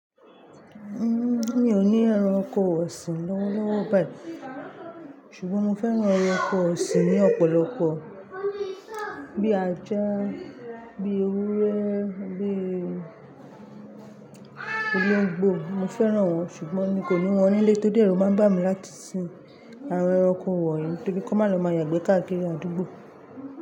Mi o ni ẹranko ọsin lọ́wọ́lọ́wọ́ bẹ́ẹ̀, ṣùgbọ́n mo fẹ́ran ẹranko ọ̀sìn ní ọ̀pọ̀lọpọ̀ bíi ajá, bíi ewúrẹ́, bíi olóńgbò. Mo fẹ́ran wọn ṣùgbọ́n mi kò ní wọn nílé torí pé èru máa ń bà mí láti sin àwọn ẹranko wọ̀nyí torí kan má lọ máa yàgbẹ́ káàkiri àdúgbò.